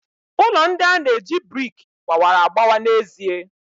Ụlọ ndị a na-eji brik gbawara agbawa n'ezie.